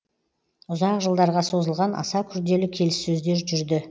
ұзақ жылдарға созылған аса күрделі келіссөздер жүрді